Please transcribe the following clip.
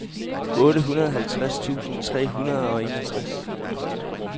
otteoghalvtreds tusind tre hundrede og enogtres